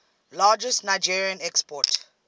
largest nigerien export